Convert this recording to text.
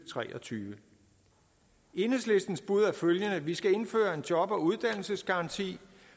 tre og tyve enhedslistens bud er følgende vi skal indføre en job og uddannelsesgaranti